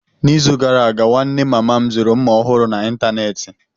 N'izu gara aga, nwanne mama m zuru mma ọhụrụ n'ịntanetị.